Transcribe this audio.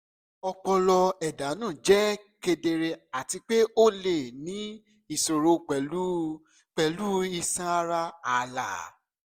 ọpọlọ ẹdanu jẹ kedere ati pe o le ni iṣoro pẹlu pẹlu iṣan ara aala